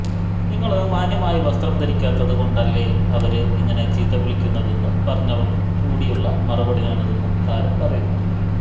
നിങ്ങള് മാന്യമായി വസ്ത്രം ധരിക്കാത്തത് കൊണ്ടല്ലേ അവര് ഇങ്ങനെ ചീത്ത വിളിക്കുന്നതെന്ന് പറഞ്ഞവർക്കും കൂടിയുള്ള മറുപടിയാണിതെന്നും താരം പറയുന്നു